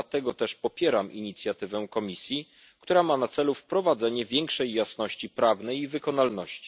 Dlatego też popieram inicjatywę Komisji, która ma na celu wprowadzenie większej jasności prawnej i wykonalności.